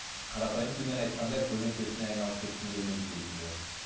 қарапайым тілмен айтқанда көлеңкесіне айналып кеткім келмейді дейсіз ғой